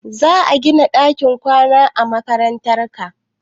Za a gina ɗakin kwanan mata a makarantar?